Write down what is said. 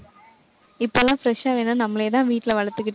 இப்பல்லாம் fresh ஆ வேணும்னா நம்மளேதான் வீட்டுல வளர்த்துக்கிட்டு